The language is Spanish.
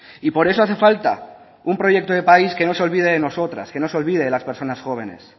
y por eso hace falta un proyecto de país que no se olvide de nosotras que no se olvide las personas jóvenes